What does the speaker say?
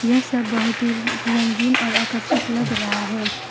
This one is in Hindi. यह सब बहुत ही रंगीन और आकर्षक लग रहा है।